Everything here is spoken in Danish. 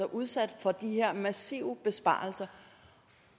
udsat for de her massive besparelser